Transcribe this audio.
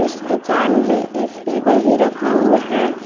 इस दुकान में एक टेबल भी रखा हुआ है।